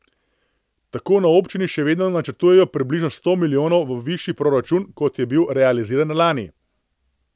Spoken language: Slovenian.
Tako na občini še vedno načrtujejo približno sto milijonov višji proračun, kot je bil realiziran lani.